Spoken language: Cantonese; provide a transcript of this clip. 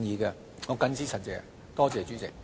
我謹此陳辭，多謝主席。